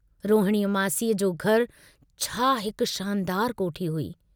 रोहणीअ मासीअ जो घर छा हिक शानदार कोठी हुई।